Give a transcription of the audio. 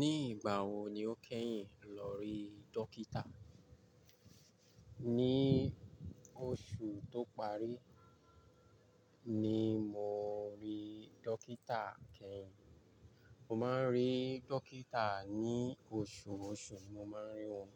Ní ìgbà wo ni o kẹ́yìn lọ rí dókítà? Ni oṣù tó parí, ni mo rí dókítà kẹ́yìn. Mo máa ń rí dókítà ní oṣùọṣù, mo máa ń rí wọn.